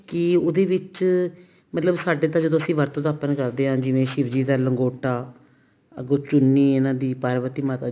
ਕੀ ਉਹਦੇ ਵਿੱਚ ਮਤਲਬ ਸਾਡੇ ਤਾਂ ਜਦੋਂ ਅਸੀਂ ਵਰਤ ਦਾ open ਕਰਦੇ ਹਾਂ ਜਿਵੇਂ ਸ਼ਿਵ ਜੀ ਦਾ ਲੰਗੋਟਾ ਅੱਗੋਂ ਚੁੰਨੀ ਉਹਨਾ ਦੀ ਪਾਰਵਤੀ ਮਾਤਾ ਦੀ